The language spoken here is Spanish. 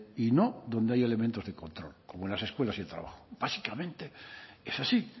y no donde hay elementos de control como en las escuelas y el trabajo básicamente es así